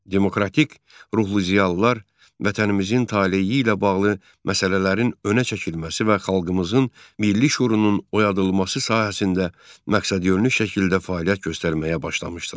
Demokratik ruhlu ziyalılar vətənimizin taleyi ilə bağlı məsələlərin önə çəkilməsi və xalqımızın milli şüurunun oyadılması sahəsində məqsədyönlü şəkildə fəaliyyət göstərməyə başlamışdılar.